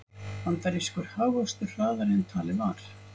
Bandarískur hagvöxtur hraðari en talið var